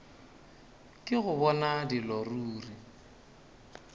ke go bona dilo ruri